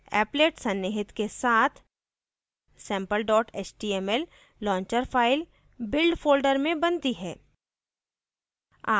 applet सन्निहित के साथ sample html launcher file build folder में बनती है